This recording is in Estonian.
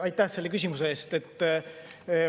Aitäh selle küsimuse eest!